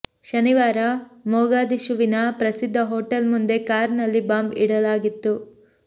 ಶನಿವಾರ ಮೊಗಾದಿಶುವಿನ ಪ್ರಸಿದ್ಧ ಹೊಟೇಲ್ ಮುಂದೆ ಕಾರ್ ನಲ್ಲಿ ಬಾಂಬ್ ಇಡಲಾಗಿತ್ತು